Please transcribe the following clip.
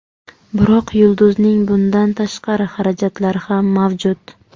Biroq yulduzning bundan tashqari xarajatlari ham mavjud.